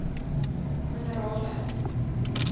minerale